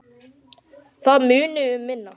Það muni um minna.